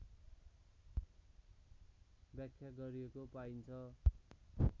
व्याख्या गरिएको पाइन्छ